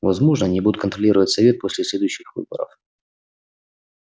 возможно они будут контролировать совет поле следующих выборов